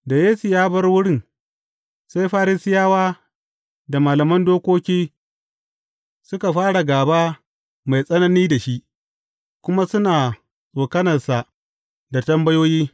Da Yesu ya bar wurin, sai Farisiyawa da malaman dokoki suka fara gaba mai tsanani da shi, kuma suna tsokanansa da tambayoyi.